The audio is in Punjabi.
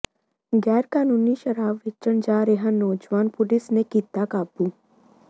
ਗ਼ੈਰਕਾਨੂੰਨੀ ਸ਼ਰਾਬ ਵੇਚਣ ਜਾ ਰਿਹਾ ਨੌਜਵਾਨ ਪੁਲਿਸ ਨੇ ਕੀਤਾ ਕਾਬੂ